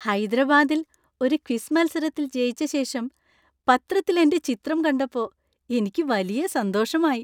ഹൈദരാബാദിൽ ഒരു ക്വിസ് മത്സരത്തിൽ ജയിച്ച ശേഷം പത്രത്തിൽ എന്‍റെ ചിത്രം കണ്ടപ്പോ എനിക്ക് വലിയ സന്തോഷമായി .